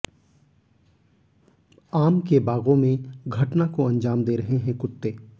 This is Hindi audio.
आम के बागों में घटना को अंजाम दे रहे हैं कुत्ते